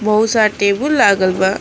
बहुत सा टेबुल लागल बा।